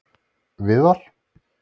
Viðar